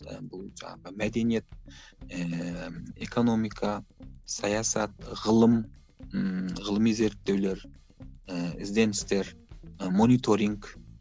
і бұл жаңағы мәдениет ііі экономика саясат ғылым ыыы ғылыми зерттеулер ііі ізденістер і мониторинг